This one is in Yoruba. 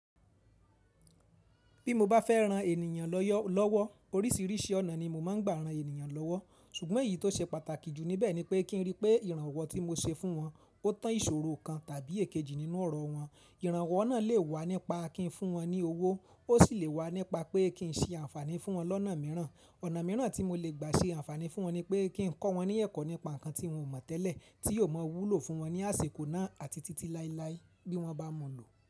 Bí mo bá fẹ́ ran ènìyàn lọ́wọ́, oríṣiríṣi ọ̀nà ni mo máa ń gbà ran ènìyàn lọ́wọ́. Ṣùgbọ́n èyí tó ṣe pàtàkì jù níbẹ̀ ni pé kí n rí pé ìrànwọ́ tí mo ṣe fún wọn, ó tán ìṣòro kan tàbí èkejì nínú ọrọ̀ wọn. Ìrànwọ́ náà lè wá nípa kí n fún wọn ní owó, ó sì lè wá nípa pé kí n ṣe àǹfààní fún wọn lọ́nà mìíràn. Ọ̀nà mìíràn tí mo lè gbà ṣe àǹfààní fún wọn ni pé kí n kọ́ wọn ní ẹ̀kọ́ nípa nǹkan tí wọ́n ò mọ̀ tẹ́lẹ̀ tí yóò ma wúlò fún wọn ní àsìkò náà àti títí láéláé bí wọ́n bá mu lọ.